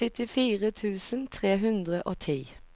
syttifire tusen tre hundre og ti